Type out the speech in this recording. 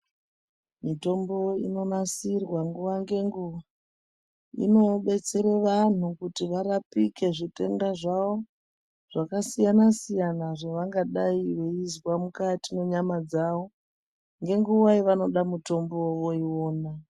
Mitombo inonasirwa nguwa ngenguwa inodetsere vantu kuti varapike zvitenda zvavo zvakasiyana siyana zvavangadai veizwa mukati mwenyama dzavo ngenguwa yevanoda mutombo iwona.